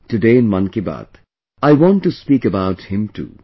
Today in "Mann Ki Baat", I want to speak about him too